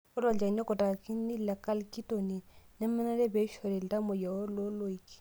Ore olchani okutakini le calcitonin nemenare pee eishori iltamoyia looloik.